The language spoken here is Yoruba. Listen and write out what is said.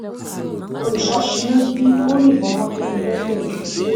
olùṣọ́ sínú bí ó yìnbọn mọ́ kẹ́mi lẹ́sẹ̀ lkùté